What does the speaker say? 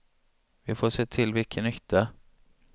Vi får se till vilken nytta.